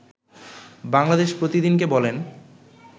বাংলাদেশ প্রতিদিনকে বলেন